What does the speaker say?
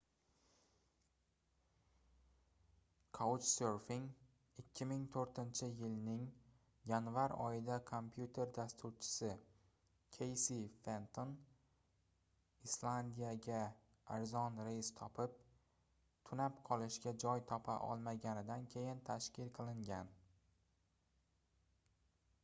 couchsurfing 2004-yilning yanvar oyida kompyuter dasturchisi keysi fenton islandiyaga arzon reys topib tunab qolishga joy topa olmaganidan keyin tashkil qilingan